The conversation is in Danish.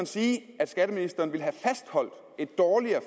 sige at skatteministeren ville have fastholdt et dårligere